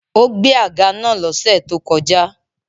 Ó gbẹ́ àga naa lọ́sẹ̀ tó kọjá